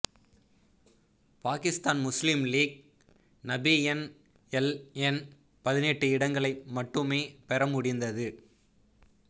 Pakistan Muslim League ந PNLN பதினெட்டு இடங்களை மட்டுமே பெற முடிந்தது